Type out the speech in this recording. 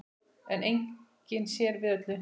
En enginn sér við öllum.